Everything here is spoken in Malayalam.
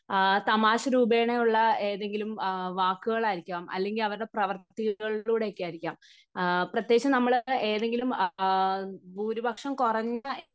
തമാശ രൂപയുള്ള ഏതെങ്കിലും വാക്കുകൾ ആയിരിക്കാം, അല്ലെങ്കിൽ അവരുടെ പ്രവർത്തി പ്രവർത്തികളിലൂടെ ഒക്കെ ആയിരിക്കാം, പ്രത്യകിച്ച് നമ്മൾ ഏതെങ്കിലും ഭൂരിപക്ഷം കുറഞ്ഞ